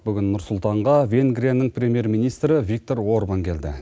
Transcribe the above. бүгін нұр сұлтанға венгрияның премьер министрі виктор орган келді